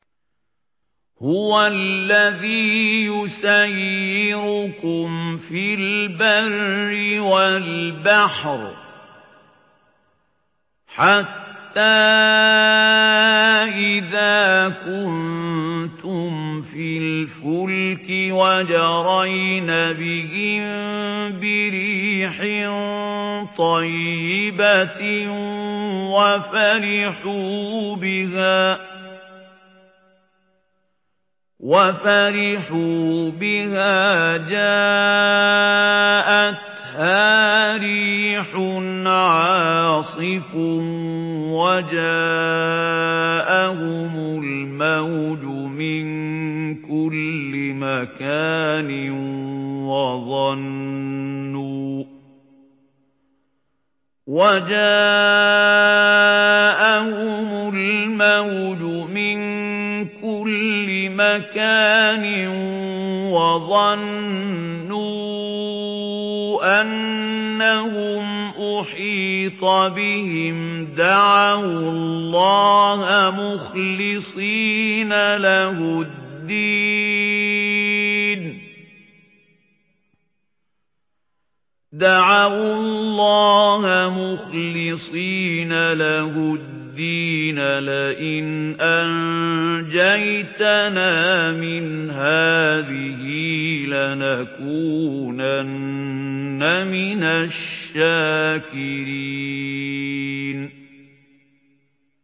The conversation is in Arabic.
هُوَ الَّذِي يُسَيِّرُكُمْ فِي الْبَرِّ وَالْبَحْرِ ۖ حَتَّىٰ إِذَا كُنتُمْ فِي الْفُلْكِ وَجَرَيْنَ بِهِم بِرِيحٍ طَيِّبَةٍ وَفَرِحُوا بِهَا جَاءَتْهَا رِيحٌ عَاصِفٌ وَجَاءَهُمُ الْمَوْجُ مِن كُلِّ مَكَانٍ وَظَنُّوا أَنَّهُمْ أُحِيطَ بِهِمْ ۙ دَعَوُا اللَّهَ مُخْلِصِينَ لَهُ الدِّينَ لَئِنْ أَنجَيْتَنَا مِنْ هَٰذِهِ لَنَكُونَنَّ مِنَ الشَّاكِرِينَ